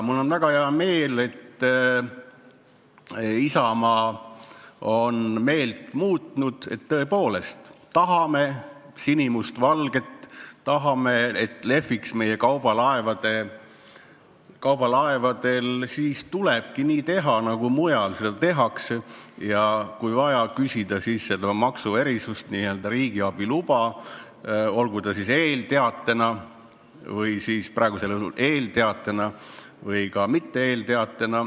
Mul on väga hea meel, et Isamaa on meelt muutnud, et tõepoolest, tahame sinimustvalget, tahame, et see lehviks meie kaubalaevadel, siis tulebki nii teha, nagu mujal seda tehakse, ja kui vaja, küsida siis seda maksuerisust, n-ö riigiabi luba, olgu ta siis eelteatena, praegusel juhul eelteatena või ka mitte eelteatena.